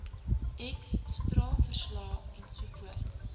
x straalverslae ensovoorts